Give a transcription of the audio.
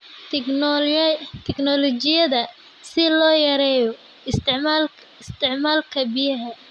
Tignoolajiyada si loo yareeyo isticmaalka biyaha.